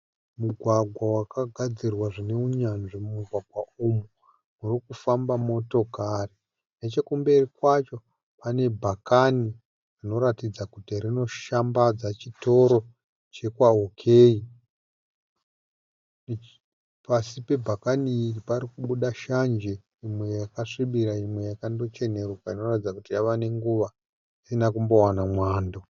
Mugwagwa wakagadzirwa zvine unyanzvi. Mumugwagwa umu murikufamba motokari. Nechekumberi kwacho pane bhakani rinoratidza kuti rinoshambadza chitoro chekwa OK. Pasí pebhakani iri parikubuda shanje imwe yakasvibira imwe yakando cheneruka inoratidza kuti yavanenguva isina kumbowana mwando.